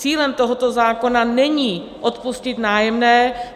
Cílem tohoto zákona není odpustit nájemné.